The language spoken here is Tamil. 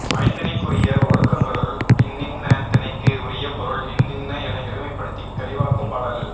ஐந்திணைக்குரிய ஒழுக்கங்களுள் இன்னின்ன திணைக்கு உரிய பொருள் இன்னின என எளிமைப்படுத்தித் தெளிவாக்கும் பாடல்